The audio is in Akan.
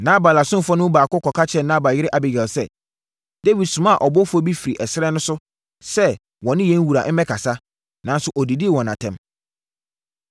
Nabal asomfoɔ no mu baako kɔka kyerɛɛ Nabal yere Abigail sɛ, “Dawid somaa abɔfoɔ firi ɛserɛ no so sɛ wɔ ne yɛn wura mmɛkasa, nanso ɔdidii wɔn atɛm.